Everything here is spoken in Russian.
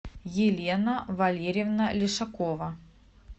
елена валерьевна лешакова